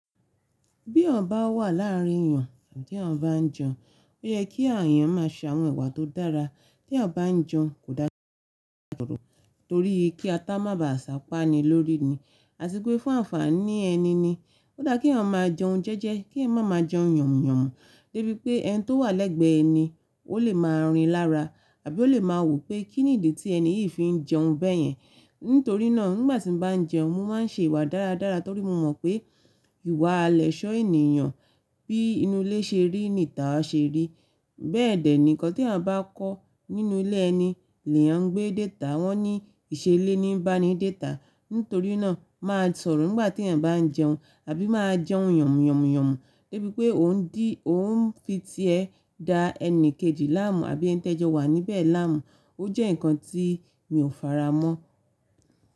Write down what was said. Bí eyan bá wà láàrin èyàn, àbí tí eeyan ba n jẹun, ó yẹ kí àh eyàn má a ṣe àwọn ìwà tó dára. Tí eyan bá n jẹun kò dára láti máa sọ̀rọ̀ torí kí atá má ba à sápá ni lórí ni, àti pe fun ànfàní ẹni ni. Ódà kí ọ̀ eyan máa jẹun jẹ́jẹ́, kí ẹyan má máa jẹun yànmùyànmú débi pé ẹni tó wà lẹ́gbẹ̀ẹ́ ẹ ni ó lè máa rìn lára, àbí ó lè máa wò pé kí nìdí tí ẹni yìí fi ń jẹun bẹ́yẹn. Nítorí náà nígbà tí n bá n jẹun mo má n ṣe ìwà dáradára torí mo mọ̀ pé ìwà lẹ́sọ̀ ènìyàn bí inú ilé ṣe rí ni tàá ṣe rí. Bẹ́ẹ̀dẹ̀ nì nkan tí eeyan bá kọ́ nínú ilé ẹni ni eeyan ngbé de ita, wọ́n ní ìṣelé ní bá ní de ta. Nítorí náà má a sọ̀rọ̀ nígbà tí eeyan bá n jẹun, àbí má a jẹun yànmùyànmú débi pé òun di oun fi tiẹ da ẹni kejì láàmú àbí ẹni tẹ́jọ́ wà níbẹ̀ láàmú. Ó jẹ́ nǹkan tí mi ò fara mọ́